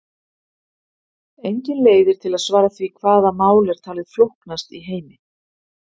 Engin leið er til að svara því hvaða mál er talið flóknast í heimi.